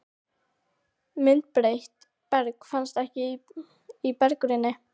Myndbreytt berg finnst ekki í berggrunni